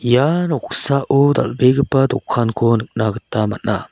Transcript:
ia noksao dal·begipa dokanko nikna gita man·a.